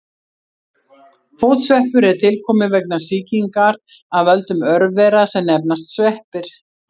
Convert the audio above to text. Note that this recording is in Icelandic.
Fótsveppur er tilkominn vegna sýkingar af völdum örvera sem nefnast sveppir.